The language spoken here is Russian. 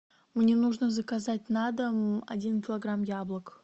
мне нужно заказать на дом один килограмм яблок